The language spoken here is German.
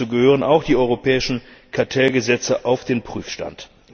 Dazu gehören auch die europäischen Kartellgesetze auf den Prüfstand.